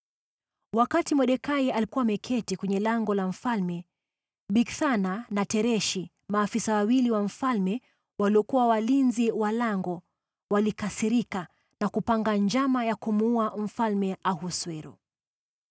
Wakati Mordekai alikuwa ameketi kwenye lango la mfalme, Bigthana na Tereshi, maafisa wawili wa mfalme waliokuwa walinzi wa lango, walikasirika na kupanga njama ya kumuua Mfalme Ahasuero.